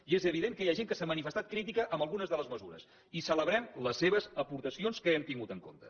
i és evident que hi ha gent que s’ha manifestat crítica amb algunes de les mesures i celebrem les seves aportacions que hem tingut en compte